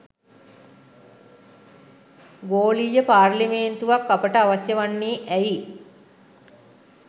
ගෝලීය පාර්ලිමේන්තුවක් අපට අවශ්‍ය වන්නේ ඇයි?